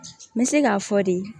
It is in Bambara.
N bɛ se k'a fɔ de